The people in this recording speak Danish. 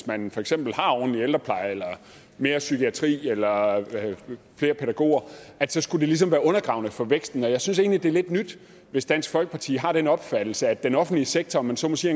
man for eksempel har ordentlig ældrepleje eller mere psykiatri eller flere pædagoger så skulle det ligesom være undergravende for væksten jeg synes egentlig det er lidt nyt hvis dansk folkeparti har den opfattelse at den offentlige sektor om man så må sige